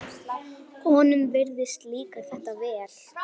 Honum virðist líka þetta vel.